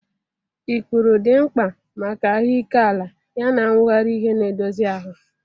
Ikpuru dị mkpa maka ahụike ala yana nwughari ihe na-edozi ahụ.